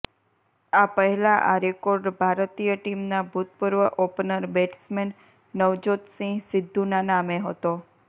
આ પહેલા આ રેકોર્ડ ભારતીય ટીમના ભૂતપૂર્વ ઓપનર બેટ્સમેન નવજોત સિંહ સિદ્ધૂના નામે હતો